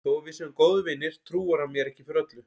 Þó að við séum góðir vinir trúir hann mér ekki fyrir öllu.